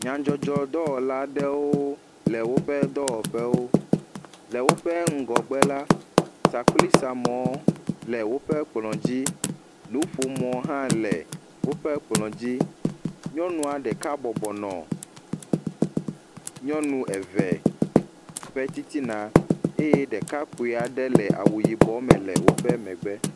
Nyadzɔdzɔ dɔwɔla aɖewo le woƒe ŋgɔgbe la, sakplisamɔ le woƒe kplɔ dzi, nuƒomɔ hã le woƒe kplɔ dzi. Nyƒnua ɖeka bɔbɔ nɔ woƒe titina eye ɖeka kpui aɖe do awu yibɔ le woƒe titina.